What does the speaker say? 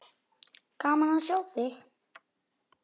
Gaman að sjá þig!